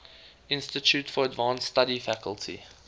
institute for advanced study faculty